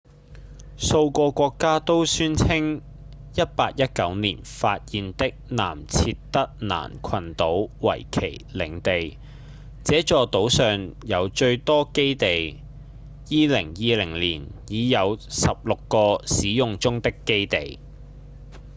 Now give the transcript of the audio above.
數個國家都宣稱1819年發現的南設得蘭群島為其領地這座島上有最多基地2020年已有十六個使用中的基地